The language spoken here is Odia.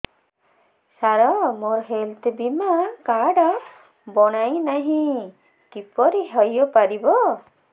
ସାର ମୋର ହେଲ୍ଥ ବୀମା କାର୍ଡ ବଣାଇନାହିଁ କିପରି ହୈ ପାରିବ